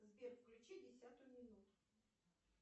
сбер включи десятую минуту